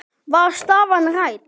Var staðan rædd?